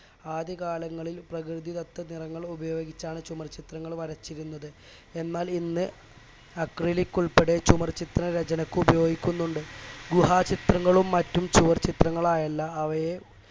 ആദ്യകാലങ്ങളിൽ പ്രകൃതിദത്ത നിറങ്ങൾ ഉപയോഗിച്ചാണ് ചുമർചിത്രങ്ങൾ വരച്ചിരുന്നത് എന്നാൽ ഇന്ന് acrylic ഉൾപ്പടെ ചുമർ ചിത്രരചനക്ക് ഉപയോഗിക്കുന്നുണ്ട് ഗുഹാചിത്രങ്ങളും മറ്റും ചുവർച്ചിത്രങ്ങളായല്ല അവയെ